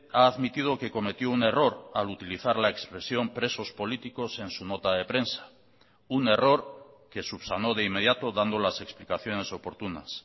ha admitido que cometió un error al utilizar la expresión presos políticos en su nota de prensa un error que subsanó de inmediato dando las explicaciones oportunas